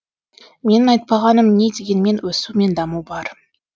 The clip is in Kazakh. менің айтпағаным не дегенмен өсу мен даму бар